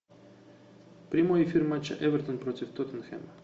прямой эфир матча эвертон против тоттенхэма